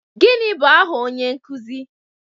Gịnị bụ aha onye nkuzi